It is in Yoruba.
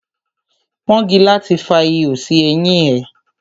Pọ́ngilá ti fa ihò sí eyín ẹ.